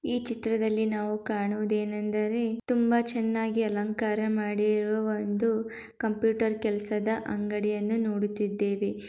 ಈ ಚಿತ್ರದಲ್ಲಿ ನಾವು ಕಾಣುವುದೇನೆಂದರೆ ತುಂಬ ಚೆನ್ನಾಗಿ ಅಲಂಕಾರ ಮಾಡಿರುವ ಒಂದು ಕಂಪ್ಯೂಟರ್ ಕೆಲಸದ ಅಂಗಡಿಯನ್ನು ನೋಡುತಿದ್ದೇವೆ.